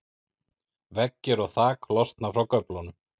veggir og þak losna frá göflunum